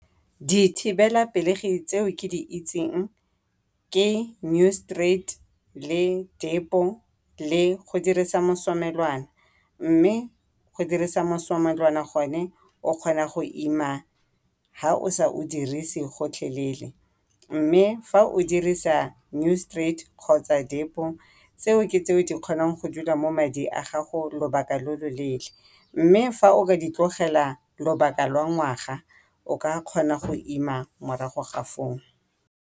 Dithibelapelegi tseo ke di itseng ke Noristerat, le Depo, le go dirisa mosomelwana, mme go dirisa mosomelwana gone o kgona go ima ha o sa o dirisi gotlhelele. Mme fa o dirisa Noriterat kgotsa Depo tseo ke tse di kgonang go dula mo mading a gago lobaka lo lo leele. Mme fa o ka ditlogela lobaka la ngwaga o ka kgona go ima morago ga foo.